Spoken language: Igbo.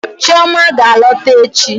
Chioma ga-alọta echi.